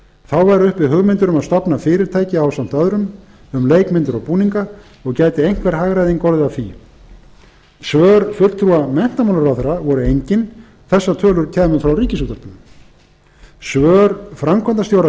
þá væru uppi hugmyndir um að stofna fyrirtæki ásamt öðrum um leikmyndir og búninga og gæti einhver hagræðing orðið af því svör fulltrúa menntamálaráðherra voru engin þessar tölur kæmu frá ríkisútvarpinu svör framkvæmdastjóra